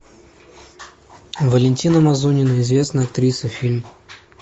валентина мазунина известная актриса фильм